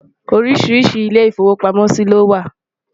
oríṣiríṣi ilé ifowo pàmò sí ló wà